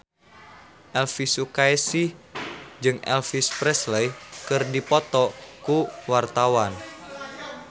Elvy Sukaesih jeung Elvis Presley keur dipoto ku wartawan